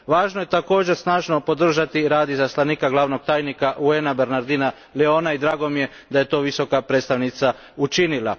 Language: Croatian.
Važno je, također, snažno podržati i rad izaslanika glavnog tajnika UN a Bernardina Leona, i drago mi je da je to Visoka predstavnica učinila.